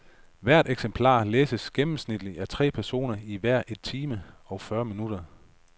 Hvert eksemplar læses gennemsnitligt af tre personer i hver et time og fyrre minutter.